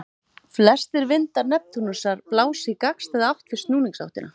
Flestir vindar Neptúnusar blása í gagnstæða átt við snúningsáttina.